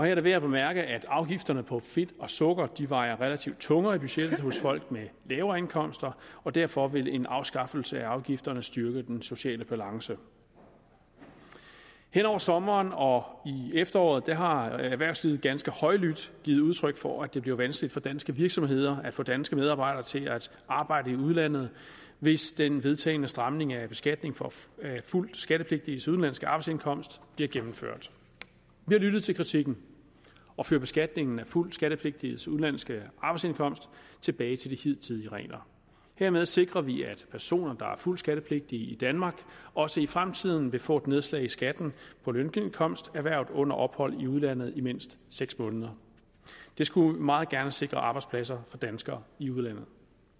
er det værd at bemærke at afgifterne på fedt og sukker vejer relativt tungere i budgettet hos folk med lavere indkomster og derfor vil en afskaffelse af afgifterne styrke den sociale balance hen over sommeren og i efteråret har erhvervslivet ganske højlydt givet udtryk for at det bliver vanskeligt for danske virksomheder at få danske medarbejdere til at arbejde i udlandet hvis den vedtagne stramning af beskatning for fuldt skattepligtiges udenlandske arbejdsindkomst bliver gennemført vi har lyttet til kritikken og fører beskatningen af fuldt skattepligtiges udenlandske arbejdsindkomst tilbage til de hidtidige regler hermed sikrer vi at personer der er fuldt skattepligtige i danmark også i fremtiden vil få et nedslag i skatten på lønindkomst erhvervet under ophold i udlandet i mindst seks måneder det skulle meget gerne sikre arbejdspladser for danskere i udlandet